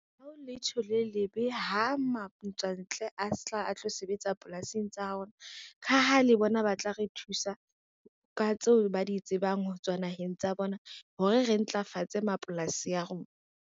Ha ho letho le lebe ha matswantle a tla a tlo sebetsa polasing tsa rona, ka ha le bona ba tla re thusa ka tseo ba di tsebang ho tswa naheng tsa bona hore re ntlafatse mapolasi a rona.